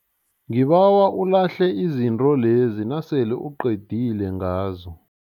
Ngibawa ulahle izinto lezi nasele uqedile ngazo.